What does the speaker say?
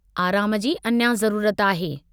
आराम जी अञा जरूरत आहे।